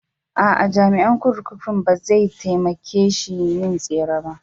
A'a, jami'an kurkukun bai za taimake shi yin tsere ba.